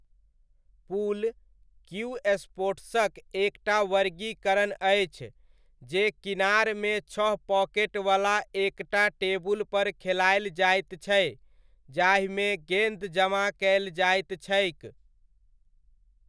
पूल, cue स्पोर्ट्सक एक टा वर्गीकरण अछि ,जे किनार मे छह पॉकेटवला एक टा टेबुलपर खेलायल जाइत छै, जाहिमे गेन्द जमा कयल जाइत छैक।